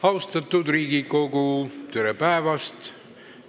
Austatud Riigikogu, tere päevast!